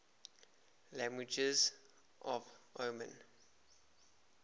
languages of oman